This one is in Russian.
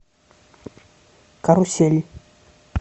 карусель